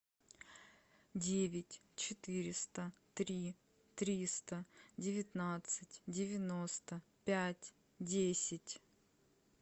девять четыреста три триста девятнадцать девяносто пять десять